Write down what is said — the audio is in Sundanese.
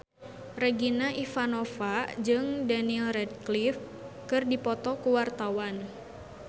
Regina Ivanova jeung Daniel Radcliffe keur dipoto ku wartawan